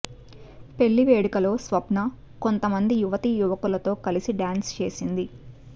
పెళ్లి వేడుకలో స్వప్న కొంత మంది యువతియువకులతో కలిసి డ్యాన్స్ చేసింది